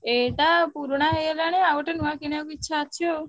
ଏଇଟା ପୁରୁଣା ହେଇଗଲାଣି ନୂଆ କିଣିବାକୁ ଇଛା ଅଛି ଆଉ।